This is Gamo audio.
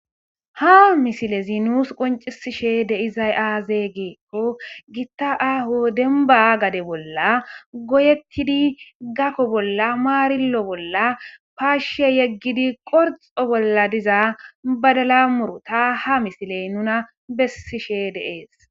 Ha misilezi nuussi qonccisishe de'izay aaze giikko guta aaho dembba gade bolla goyettidi gako bolla maarillo bolla paashshe yeggidi qorxxo bolla diza badala muuruta ha misiley nuna bessishe de'es.